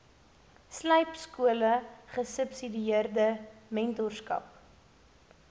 slypskole gesubsidieerde mentorskap